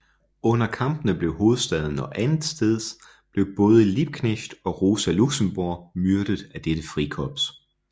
Under kampene i hovedstaden og andetsteds blev både Liebknecht og Rosa Luxemburg myrdet af dette frikorps